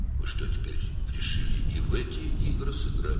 İndi nədir, bu oyunlara da oynamağa qərar verdiniz?